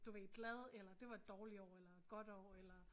Du ved glad eller det var et dårligt år eller godt år eller